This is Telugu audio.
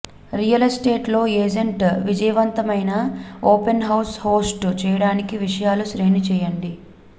రియల్ ఎస్టేట్ లో ఎజెంట్ విజయవంతమైన ఓపెన్ హౌస్ హోస్ట్ చేయడానికి విషయాలు శ్రేణి చేయండి